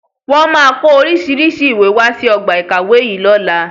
Wọn máa ko oríṣiríṣi ìwé wá sí ọgbà ìkàwé yìí lọ́la